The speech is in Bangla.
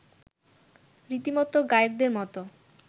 রীতিমতো গায়কদের মতো